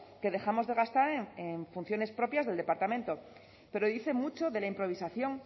que dejamos de gastar en funciones propias del departamento pero dice mucho de la improvisación